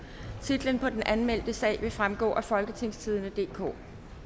titlen på den anmeldte sag vil fremgå af folketingstidende DK